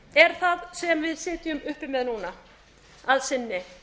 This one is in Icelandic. er það sem við sitjum uppi með núna að sinni